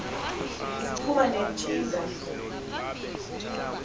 ziphuma ne ntshinga